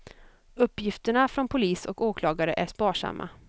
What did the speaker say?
Uppgifterna från polis och åklagare är sparsamma.